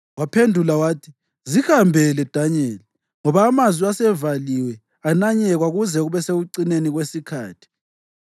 Waphendula wathi, “Zihambele, Danyeli, ngoba amazwi asevaliwe ananyekwa kuze kube sekucineni kwesikhathi.